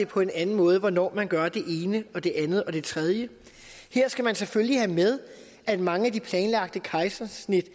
på en anden måde hvornår man gør det ene og det andet og det tredje her skal man selvfølgelig have med at mange af de planlagte kejsersnit